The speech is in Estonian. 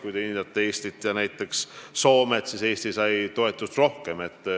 Kui te võrdlete aga näiteks Eestit ja Soomet, siis Eesti sai toetust rohkem.